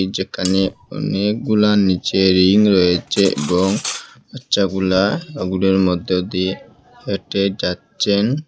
যেখানে অনেকগুলা নীচে রিং রয়েছে এবং বাচ্চাগুলা ওগুলার মধ্যে দিয়ে হেঁটে যাচ্ছেন।